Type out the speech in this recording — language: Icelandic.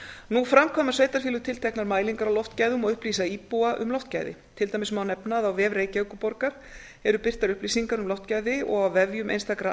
nú framkvæma sveitarfélög tilteknar mælingar á loftgæðum og upplýsa íbúa um loftgæði til dæmis má nefna að á vef reykjavíkurborgar eru birtar upplýsingar um loftgæði og á vefjum einstakra